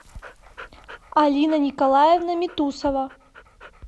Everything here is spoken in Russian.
алина николаевна митусова